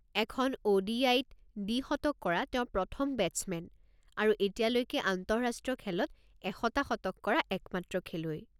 এখন ও.ডি.আই.-ত দ্বিশতক কৰা তেওঁ প্ৰথম বেটছমেন, আৰু এতিয়ালৈকে আন্তঃৰাষ্ট্ৰীয় খেলত ১০০টা শতক কৰা একমাত্ৰ খেলুৱৈ।